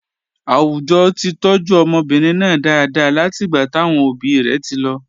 Àwùjọ ti tọ́jú ọmọbìnrin náà dáadáa látìgbà táwọn òbí rẹ̀ ti lọ.